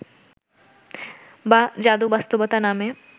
বা যাদু বাস্তবতা নামে